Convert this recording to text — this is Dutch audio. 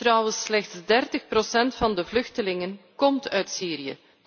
Trouwens, slechts 30 procent van de vluchtelingen komt uit Syrië.